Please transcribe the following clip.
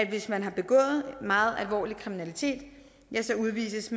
hvis man har begået meget alvorlig kriminalitet udvises